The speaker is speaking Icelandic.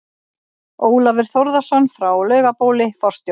Ólafur Þórðarson frá Laugabóli, forstjóri